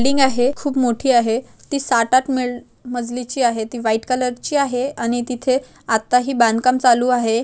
Building आहे खूप मोठी आहे ते साथ आठ म -- मजली ची आहे ती व्हाइट कलर ची आहेआणि तिथे अत्ता ही बांधकाम चालू आहे.